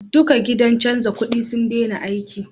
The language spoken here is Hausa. Duka gidan canja kudi sun dena aiki